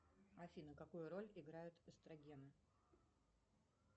афина какую роль играют эстрогены